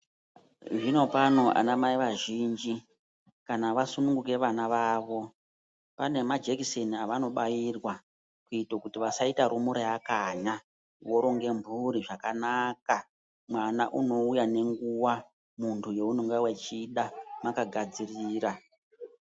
Zvino pano ana mai vazhinji kana vasununguka vana vavo, pane majekiseni avanobairwa, kuite kuti vasaita rumura yakanya, voronga mphuri zvakanaka. Mwana unouya ngenguwa, muntu yaunenge uchida, mwakagadzirira.